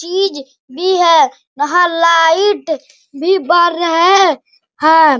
चीज भी है वहाँ लाइट भी बर रहें हैं।